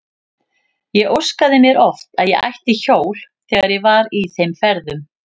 Ég óskaði mér oft að ég ætti hjól þegar ég var í þeim ferðum.